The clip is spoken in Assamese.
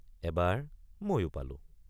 এবাৰ ময়ো পালোঁ।